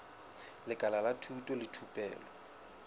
lekala la thuto le thupelo